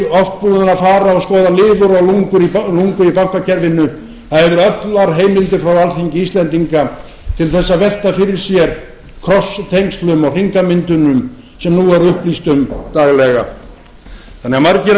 búið að fara og skoða lifur og lungu í bankakerfinu það hafði allar heimildir frá alþingi íslendinga til þess að velta fyrir sér tengslum og hringamyndunum sem nú er upplýst um daglega þannig að margir